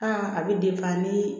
a bɛ nii